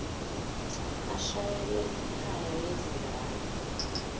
ashayele ikhaya lezingane